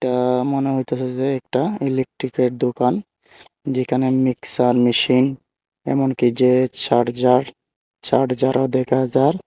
এটা মনে হইতেছে যে একটা ইলেকট্রিকের দোকান যেখানে মিক্সার মেশিন এমনকি যে চার্জার চার্জারও দেখা যার ।